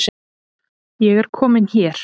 Ég er komin hér